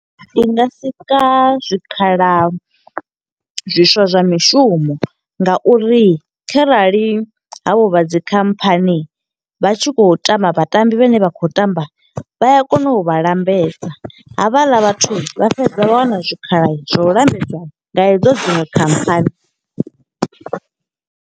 Ndi nga sika zwikhala zwiswa zwa mishumo, nga uri kharali havho vha dzi khamphani vha tshi khou tamba vha tambi vhane vha khou tamba, vha ya kona u vha lambedza. Havhaḽa vhathu vha fhedza vha wana zwikhala zwa u lambedza nga hedzo dziṅwe khamphani.